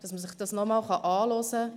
Man kann sich solches nochmals anhören.